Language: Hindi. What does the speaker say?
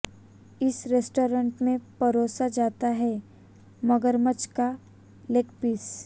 इस रेस्टोरेंट में परोसा जाता है मगरमच्छ का लेगपीस